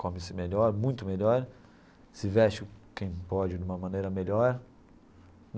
Come-se melhor, muito melhor, se veste, quem pode, de uma maneira melhor.